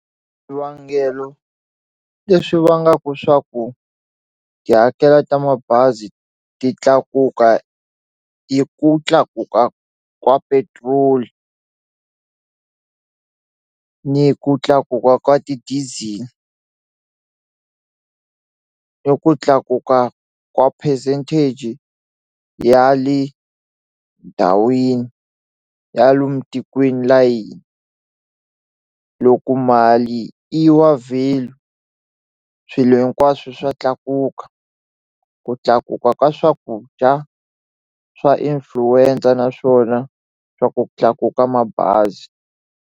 Swivangelo leswi vangaka swa ku tihakelo ta mabazi ti tlakuka i ku tlakuka ka petrol ni ku tlakuka ka ti-diesel i ku tlakuka ka percentage ya le ndhawini ya lomu tikweni layini loku mali i wa value swilo hinkwaswo swa tlakuka ku tlakuka ka swakudya swa influencer naswona swa ku tlakuka mabazi.